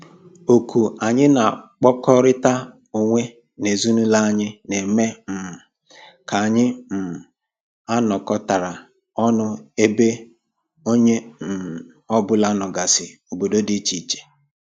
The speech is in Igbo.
Oku anyị na-akpọkọrịta onwe n'ezinụlọ anyị na-eme um ka anyị um anọkatara ọnụ ebe onye um ọbụla nọgasị obodo dị iche iche